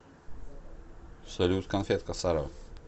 салют конфетка саро